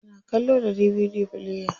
Ana kallo da DVD player.